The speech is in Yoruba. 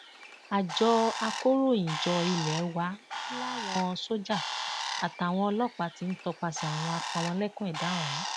àjọ akọròyìnjọ ilé wa làwọn sójà àtàwọn ọlọpàá ti ń tọpasẹ àwọn apámọlẹkùn ẹdà ọhún